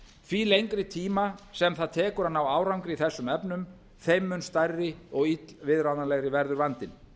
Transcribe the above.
því lengri tíma sem það tekur að ná árangri í þessum efnum þeim mun stærri og illviðráðanlegri verður vandinn